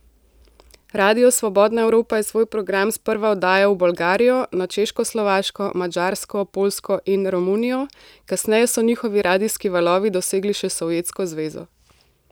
Radio Svobodna Evropa je svoj program sprva oddajal v Bolgarijo, na Češkoslovaško, Madžarsko, Poljsko in Romunijo, kasneje so njihovi radijski valovi dosegli še Sovjetsko zvezo.